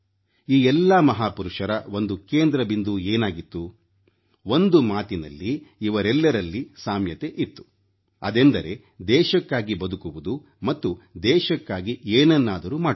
ಈ ಎಲ್ಲಾ ಮಹಾಪುರುಷರ ಒಂದು ಕೇಂದ್ರ ಬಿಂದು ಏನಾಗಿತ್ತು ಒಂದು ಮಾತಿನಲ್ಲಿ ಇವರೆಲ್ಲರಲ್ಲಿ ಸಾಮ್ಯತೆ ಇತ್ತು ಅದೆಂದರೆ ದೇಶಕ್ಕಾಗಿ ಬದುಕುವುದು ಮತ್ತು ದೇಶಕ್ಕಾಗಿ ಏನನ್ನಾದರೂ ಮಾಡುವುದು